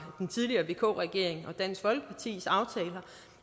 den tidligere vk regering og dansk folkepartis aftaler